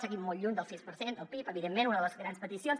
seguim molt lluny del sis per cent del pib evidentment una de les grans peticions